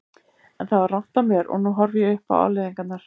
En það var rangt af mér og nú horfi ég upp á afleiðingarnar.